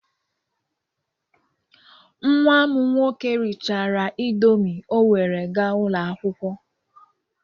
Nwa m nwoke rịchara Indomị o were gaa ụlọ akwụkwọ